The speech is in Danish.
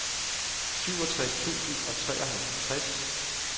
syvogtres tusind og treoghalvtreds